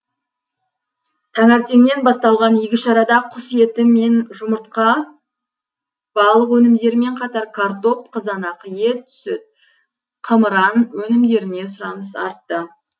таңертеңнен басталған игі шарада құс еті мен жұмыртқа балық өнімдерімен қатар картоп қызанақ ет сүт қымыран өнімдеріне сұраныс артты